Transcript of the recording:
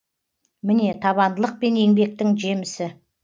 міне табандылық пен еңбектің жемісі